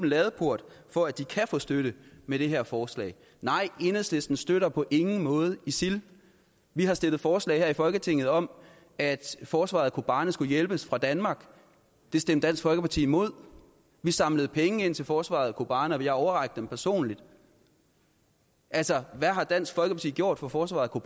ladeport for at de kan få støtte med det her forslag nej enhedslisten støtter på ingen måde isil vi har stillet forslag her i folketinget om at forsvaret af kobane skulle hjælpes fra danmark det stemte dansk folkeparti imod vi samlede penge ind til forsvaret af kobane og vi har overrakt dem personligt altså hvad har dansk folkeparti gjort for forsvaret af